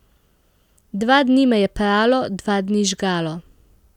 Dva dni me je pralo, dva dni žgalo.